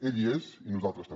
ell hi és i nosaltres també